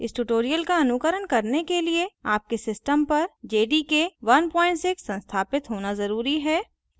इस tutorial का अनुकरण करने के लिए आपके system पर jdk 16 संस्थापित होना जरूरी है